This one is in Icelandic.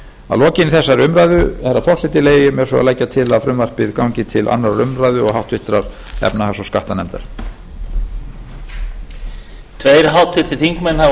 að lokinni þessari umræðu herra forseti leyfi ég mér svo að leggja til að frumvarpið gangi til annarrar umræðu háttvirtrar efnahags og skattanefndaraflokinni